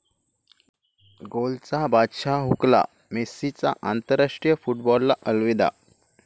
गोलचा बादशाह 'हुकला', मेस्सीचा आंतराष्ट्रीय फुटबॉलला अलविदा